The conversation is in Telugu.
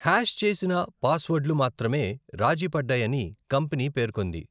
హ్యాష్ చేసిన పాస్వర్డ్లు మాత్రమే రాజీ పడ్డాయని కంపెనీ పేర్కొంది.